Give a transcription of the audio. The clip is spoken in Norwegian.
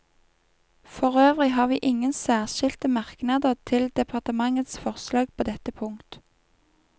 For øvrig har vi ingen særskilte merknader til departementets forslag på dette punkt.